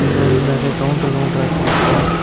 இங்க வந்து நெறைய கவுண்டர் கவுண்டராட்ட இருக்கு.